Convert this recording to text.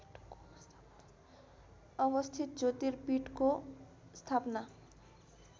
अवस्थित ज्योतिर्पीठको स्थापना